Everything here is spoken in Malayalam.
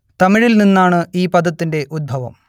തമിഴിൽ നിന്നാണ് ഈ പദത്തിന്റെ ഉദ്ഭവം